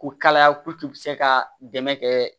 Ko kalaya se kaa dɛmɛ kɛ